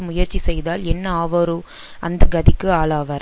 முயற்சி செய்தால் என்ன ஆவாரோ அந்த கதிக்கு ஆளாவார்